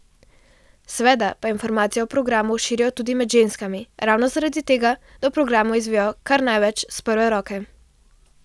Seveda pa informacije o programu širijo tudi med ženskami ravno zaradi tega, da o programu izvejo kar največ s prve roke.